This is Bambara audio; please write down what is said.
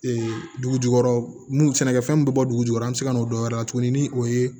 Ee dugu jukɔrɔ mun sɛnɛkɛfɛn min bɛ bɔ dugujukɔrɔ an bɛ se ka n'o dɔn wɛrɛ tuguni ni o ye